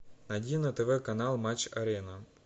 найди на тв канал матч арена